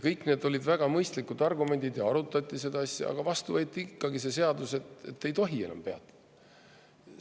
Kõik olid väga mõistlikud argumendid ja arutati seda asja, aga vastu võeti ikkagi see seadus, et ei tohi enam peatuda.